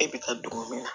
E bɛ taa don min na